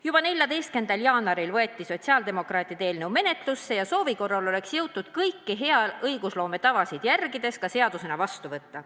Juba 14. jaanuaril võeti sotsiaaldemokraatide eelnõu menetlusse ja soovi korral oleks see jõutud kõiki hea õigusloome tavasid järgides ka seadusena vastu võtta.